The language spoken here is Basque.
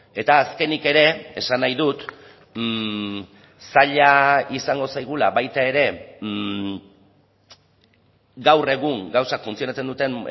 eta azkenik ere esan nahi dut zaila izango zaigula baita ere gaur egun gauzak funtzionatzen duten